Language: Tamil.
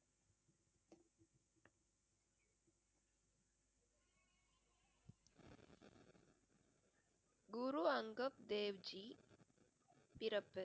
குரு அங்கத் தேவ் ஜி பிறப்பு